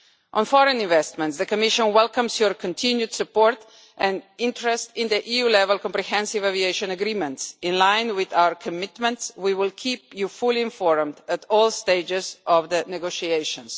On foreign investment, the Commission welcomes your continued support and interest in the EU level comprehensive aviation agreements. In line with our commitments, we will keep you fully informed at all stages of the negotiations.